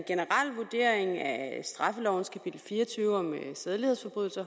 straffelovens kapitel fire og tyve om sædelighedsforbrydelser